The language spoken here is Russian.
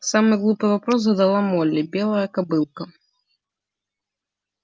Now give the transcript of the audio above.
самый глупый вопрос задала молли белая кобылка